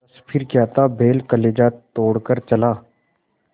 बस फिर क्या था बैल कलेजा तोड़ कर चला